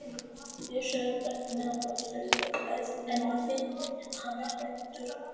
Bjössi er brattur miðað við aðstæður en ég finn að hann er hræddur um okkur.